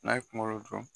N'a ye kunkolo dun